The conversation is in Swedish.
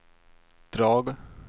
drag